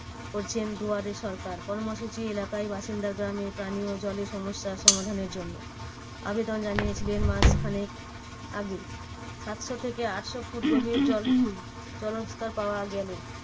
করছেন দুয়ারে সরকার কর্মসূচি এলাকায় বাসিন্দা গ্রামে পানিও জলের সমস্যার সমাধানের জন্য। আবেদন জানিয়েছিলেন মাস খানেক আগে। সাতশো থেকে আটশো ফুট গভীর জল জলস্তর পাওয়া গেলো।